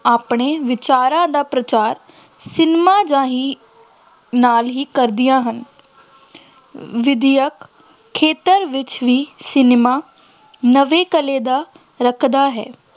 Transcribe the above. ਆਪਣੇ ਵਿਚਾਰਾਂ ਦਾ ਪ੍ਰਚਾਰ ਸਿਨੇਮਾ ਰਾਹੀ ਨਾਲ ਹੀ ਕਰਦੀਆਂ ਹਨ ਵਿੱਦਿਅਕ ਖੇਤਰ ਵਿੱਚ ਵੀ ਸਿਨੇਮਾ ਨਿਵੇਕਲੇ ਦਾ ਰੱਖਦਾ ਹੈ।